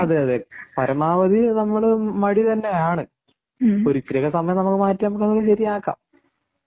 അതേ അതേ പരമാവധി നമ്മൾ മടി തന്നെയാണ് ഒരു ഇച്ചിരിയൊക്കെ സമയം നമുക്ക് മാറ്റിയാല് നമുക്ക് അങ്ങ് ശരിയാക്കാം